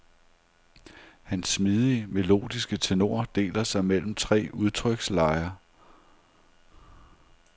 Hans smidige, melodiske tenor deler sig mellem tre udtrykslejer.